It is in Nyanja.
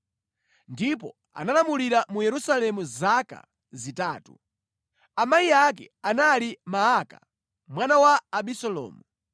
ndipo analamulira mu Yerusalemu zaka zitatu. Amayi ake anali Maaka, mwana wa Abisalomu.